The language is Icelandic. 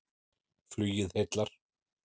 Flugið heillar